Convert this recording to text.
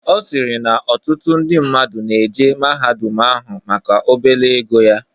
Ọsirii na ọtụtụ ndi mmadụ na-eje mahadum ahụ maka obele ego ya.